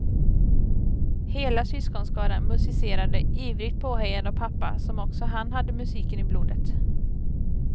Hela syskonskaran musicerade, ivrigt påhejad av pappa, som också han hade musiken i blodet.